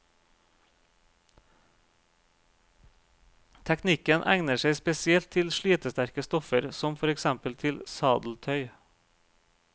Teknikken egner seg spesielt til slitesterke stoffer, som for eksempel til sadeltøy.